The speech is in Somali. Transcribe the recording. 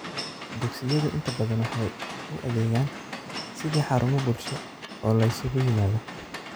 Dugsiyadu inta badan waxay u adeegaan sidii xarumo bulsho oo la isugu yimaado.